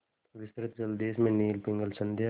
विस्तृत जलदेश में नील पिंगल संध्या